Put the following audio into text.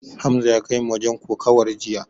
Hamza ya kaimu wajen kokawar jiya.